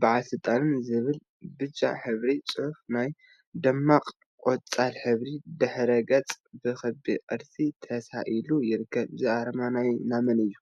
በዓል ስልጣን ዝብል ብጫ ሕብሪ ፅሑፍ አብ ደሚቅ ቆፃል ሕብሪ ድሕረ ገፅ ብክቢ ቅርፂ ተሳኢሉ ይርከብ፡፡ እዚ አርማ ናይ መን እዩ?